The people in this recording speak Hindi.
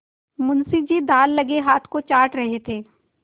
मुंशी जी दाललगे हाथ को चाट रहे थे